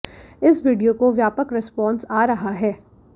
इस वीडियो को व्यापक रेस्पान्स आ रहा है